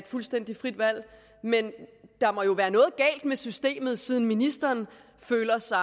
fuldstændig frit valg men der må jo være noget galt med systemet siden ministeren føler sig